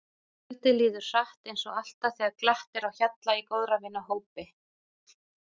Kvöldið líður hratt eins og alltaf þegar glatt er á hjalla í góðra vina hópi.